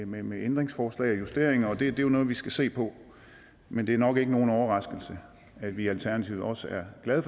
med med ændringsforslag og justeringer og det er jo noget vi skal se på men det er nok ikke nogen overraskelse at vi i alternativet også er glade